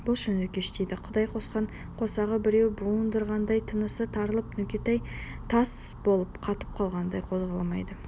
болшы нүкеш дейді құдай қосқан қосағы біреу буындырғандай тынысы тарылып нүкетай тас болып қатып қалғандай қозғалмайды